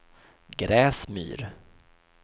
Gräsmyr